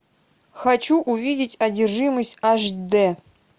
хочу увидеть одержимость аш дэ